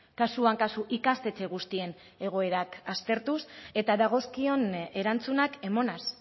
kasuan kasu ikastetxe guztien egoerak aztertuz eta dagozkion erantzunak emanez